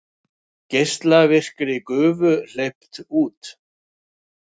Geislavirkri gufu hleypt út